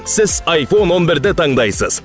сіз айфон он бірді таңдайсыз